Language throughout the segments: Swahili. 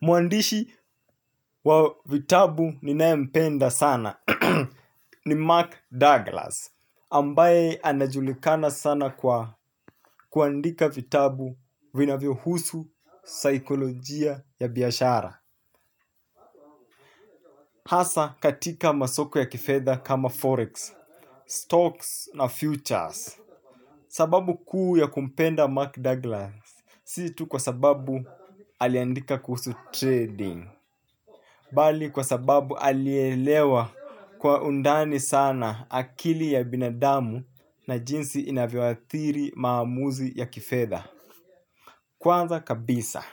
Muandishi wa vitabu ninae mpenda sana ni Mark Douglas Ambaye anajulikana sana kwa kuandika vitabu vinavyo husu, saikolojia ya biashara. Hasa katika masoko ya kifedha kama forex, stocks na futures. Sababu kuu ya kumpenda Mark Douglas Si tu kwa sababu aliandika kuhusu trading bali kwa sababu alielewa kwa undani sana akili ya binadamu na jinsi inavyoathiri maamuzi ya kifedha. Kwanza kabisa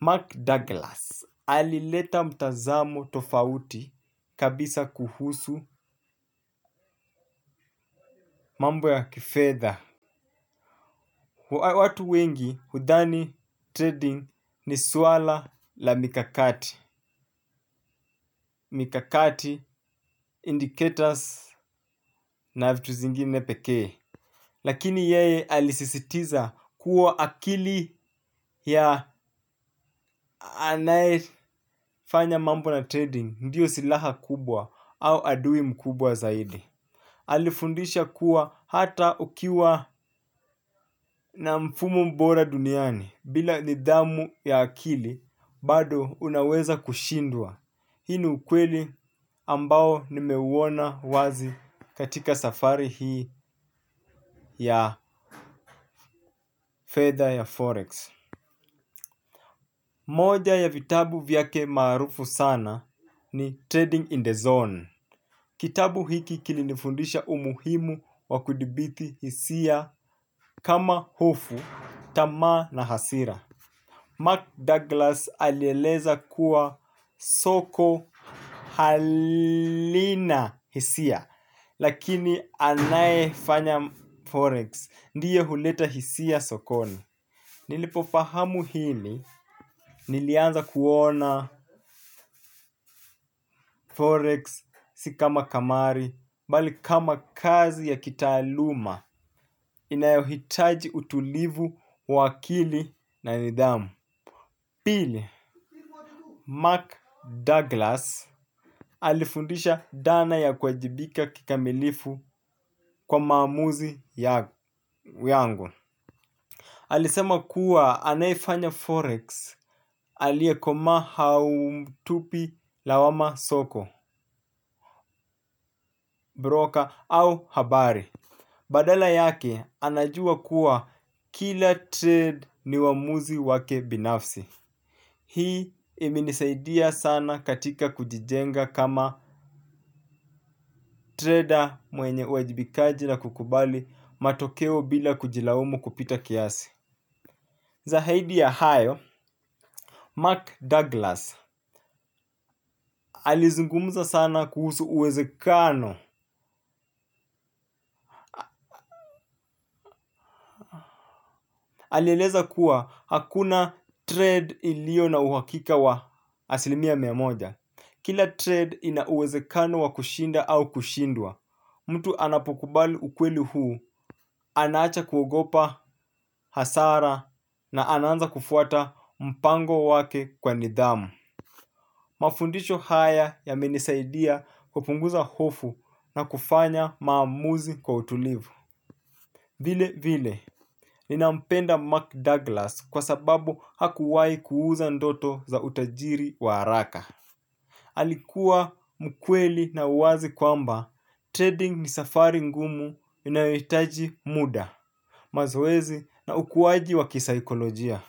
Mark Douglas alileta mtazamo tofauti kabisa kuhusu mambo ya kifedha. Watu wengi hudhani trading ni suala la mikakati. Mikakati indicators na vitu zingine pekee lakini yeye alisisitiza kuwa akili ya anae fanya mambo na trading ndiyo silaha kubwa au adui mkubwa zaidi. Alifundisha kuwa hata ukiwa na mfumo mbora duniani bila nidhamu ya akili bado unaweza kushindwa. Hii ni ukweli ambao nimeuona wazi katika safari hii ya fedha ya forex. Moja ya vitabu vyake maarufu sana ni Trading in the Zone. Kitabu hiki kilinifundisha umuhimu wa kudibithi hisia kama hofu, tamaa na hasira Mark Douglas alieleza kuwa soko halina hisia. Lakini anae fanya Forex, ndiye huleta hisia sokoni nilipo fahamu hili nilianza kuona Forex si kama kamari bali kazi ya kitaaluma inayohitaji utulivu wa akili na nidhamu. Pili, Mark Douglas alifundisha dana ya kuwajibika kikamilifu kwa maamuzi yangu. Alisema kuwa anayefanya Forex, aliekomaa haumtupi lawama soko, broker au habari. Badala yake anajua kuwa kila trade ni uwamuzi wake binafsi. Hii imenisaidia sana katika kujijenga kama trader mwenye uajibikaji na kukubali matokeo bila kujilaumu kupita kiasi. Zahaidi ya hayo Mark Douglas. Alizungumuza sana kuhusu uwezekano. Alieleza kuwa hakuna trade ilio na uhakika wa asilimia miamoja. Kila trade ina uwezekano wa kushinda au kushindwa. Mtu anapokubali ukweli huu anaacha kuogopa hasara na anaanza kufuata mpango wake kwa nidhamu. Mafundisho haya yamenisaidia kupunguza hofu na kufanya maamuzi kwa utulivu. Vile vile, ninampenda Mark Douglas kwa sababu hakuwai kuuza ndoto za utajiri wa araka. Alikuwa mkweli na uwazi kwamba, trading ni safari ngumu inayoitaji muda, mazoezi na ukuwaji wa kisaikolojia.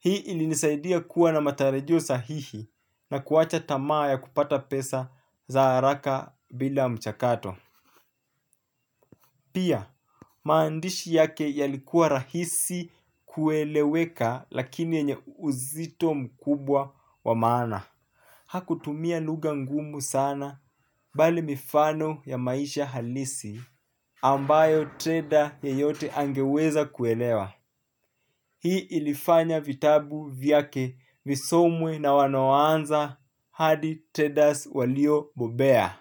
Hii ilinisaidia kuwa na matarajio sahihi na kuwacha tamaa ya kupata pesa za haraka bila mchakato. Pia, maandishi yake yalikuwa rahisi kueleweka lakini yenye uzito mkubwa wa maana. Hakutumia luga ngumu sana bali mifano ya maisha halisi ambayo trader yeyote angeweza kuelewa. Hii ilifanya vitabu vyake visomwe na wanoanza hadi traders walio bobea.